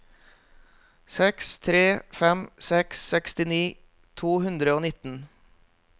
seks tre fem seks sekstini to hundre og nitten